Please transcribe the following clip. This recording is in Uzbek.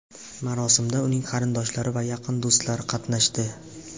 Marosimda uning qarindoshlari va yaqin do‘stlari qatnashdi.